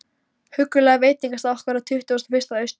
huggulega veitingastað okkar á Tuttugasta og fyrsta Austur